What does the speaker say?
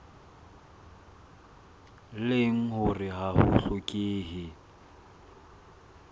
leng hore ha ho hlokehe